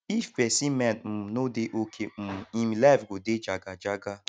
if persin mind um no de okay um im life go de jaga jaga